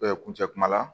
kuncɛ kuma la